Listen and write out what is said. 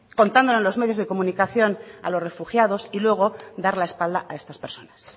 contándole a los medios de comunicación a los refugiados y luego dar la espalda a estas personas